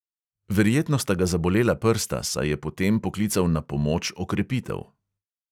Verjetno sta ga zabolela prsta, saj je po tem poklical na pomoč okrepitev.